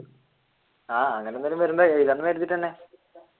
ആഹ് അങ്ങനെയെന്തെങ്കിലും